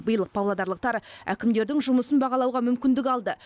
биыл павлодарлықтар әкімдердің жұмысын бағалауға мүмкіндік алды